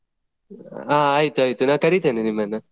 ಆ ಆಯ್ತ್ ಆಯ್ತು ನಾನ್ ಕರಿತೆನೆ ನಿಮ್ಮನ್ನು.